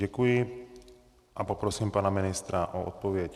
Děkuji a poprosím pana ministra o odpověď.